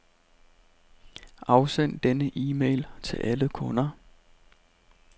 Afsend denne e-mail til alle kunder.